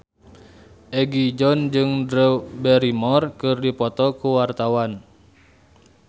Egi John jeung Drew Barrymore keur dipoto ku wartawan